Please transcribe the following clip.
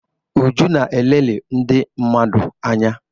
Uju na-elelị ndị mmadụ anya